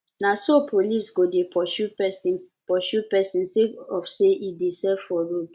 na so police go dey pursue pesin pursue pesin sake of sey e dey sell for road